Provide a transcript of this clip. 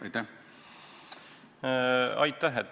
Aitäh!